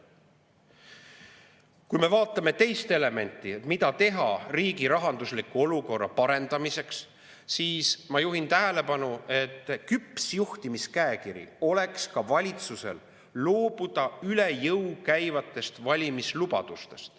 Kui me vaatame teist elementi, mida teha riigi rahandusliku olukorra parendamiseks, siis ma juhin tähelepanu, et küpsest juhtimiskäekirjast räägiks see, kui valitsus loobuks üle jõu käivatest valimislubadustest.